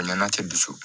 N'a cɛ dusu